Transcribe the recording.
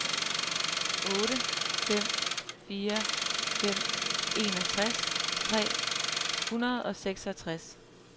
otte fem fire fem enogtres tre hundrede og seksogtres